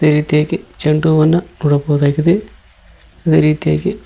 ಅದೇ ರೀತಿಯಾಗಿ ಚಂಡು ಹೂವನ್ನ ನೋಡಬಹುದಾಗಿದೆ ಅದೇ ರೀತಿಯಾಗಿ --